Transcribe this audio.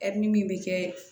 Ɛri min bɛ kɛ